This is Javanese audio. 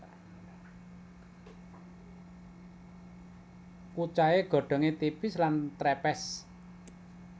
Kucai godhongé tipis lan trepes